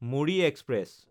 Muri express